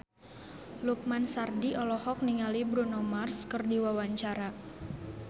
Lukman Sardi olohok ningali Bruno Mars keur diwawancara